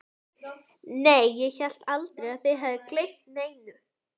Nei, ég hélt aldrei að þið hefðuð gleymt neinu.